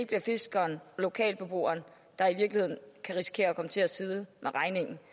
bliver fiskeren og lokalbeboeren der i virkeligheden kan risikere at komme til at sidde med regningen